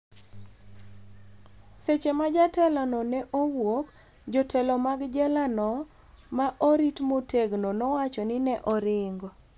seche ma jatelo no ne owuok , jotelo mag jela no ma orit motegno nowacho ni ne oringo